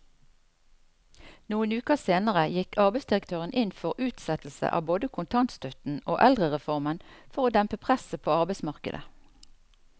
Noen uker senere gikk arbeidsdirektøren inn for utsettelse av både kontantstøtten og eldrereformen for å dempe presset på arbeidsmarkedet.